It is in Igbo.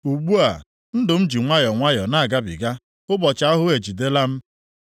“Ugbu a, ndụ m ji nwayọọ nwayọọ na-agabiga; ụbọchị ahụhụ ejidela m.